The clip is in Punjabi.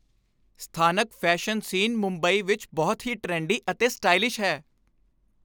ਸਥਾਨਕ ਫ਼ੈਸ਼ਨ ਸੀਨ ਮੁੰਬਈ ਵਿੱਚ ਬਹੁਤ ਹੀ ਟਰੈਂਡੀ ਅਤੇ ਸਟਾਈਲਿਸ਼ ਹੈ।